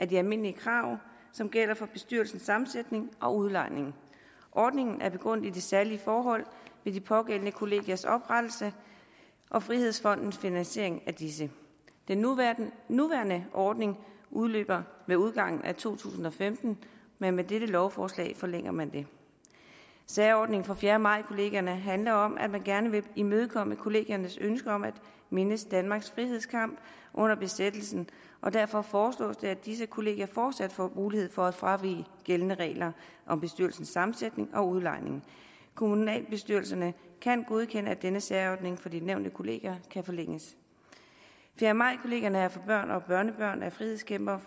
de almindelige krav som gælder for bestyrelsens sammensætning og udlejningen ordningen er begrundet i de særlige forhold ved de pågældende kollegiers oprettelse og frihedsfondens finansiering af disse den nuværende nuværende ordning udløber med udgangen af to tusind og femten men med dette lovforslag forlænger man den særordningen for fjerde maj kollegierne handler om at man gerne vil imødekomme kollegiernes ønske om at mindes danmarks frihedskamp under besættelsen og derfor foreslås det at disse kollegier fortsat har mulighed for at fravige gældende regler om bestyrelsessammensætning og udlejning kommunalbestyrelserne kan godkende at denne særordning for de nævnte kollegier kan forlænges fjerde maj kollegierne er for børn og børnebørn af frihedskæmpere